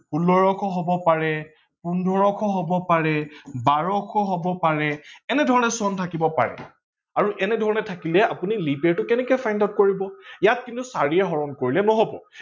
পোন্ধৰশ হব পাৰে, ষোল্লশ হব পাৰে, বাৰশ হব পাৰে এনেধৰনে চন থাকিব পাৰে আৰু এনেধৰনে থাকিলে আপোনি leap year টো কেনেকে find out কৰিব? ইয়াক কিন্তু চাৰিৰে হৰন কৰিলে নহব